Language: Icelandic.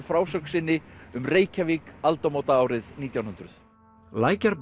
frásögn sinni um Reykjavík aldamótaárið nítján hundruð